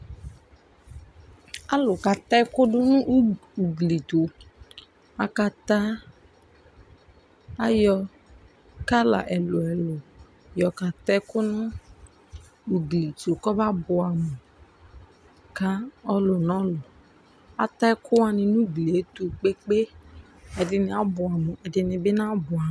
Alu kata ɛku du nu ugli tu akata ayɔ kala ɛlu ɛlu yɔka ta ɛku nu ugli tu kɔba buɛ amu ka ɔlu nu ɔlu Ata ɛkuani nu ugli yɛ ɛtu gbegbe Ɛdini abuɛ amu ɛdini bi nabuɛ amu